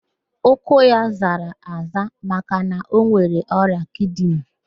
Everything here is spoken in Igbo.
Ụkwụ ya zara aza maka na ọ nwere ọrịa kidini